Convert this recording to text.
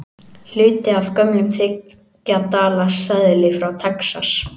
Hluti af gömlum þriggja dala seðli frá Texas.